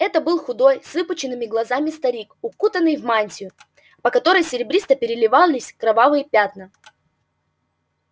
это был худой с выпученными глазами старик укутанный в мантию по которой серебристо переливались кровавые пятна